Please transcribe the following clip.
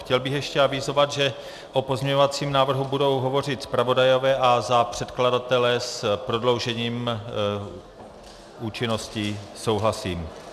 Chtěl bych ještě avizovat, že o pozměňovacím návrhu budou hovořit zpravodajové a za předkladatele s prodloužením účinnosti souhlasím.